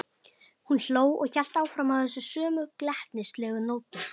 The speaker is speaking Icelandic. Hún hló og hélt áfram á þessum sömu glettnislegu nótum.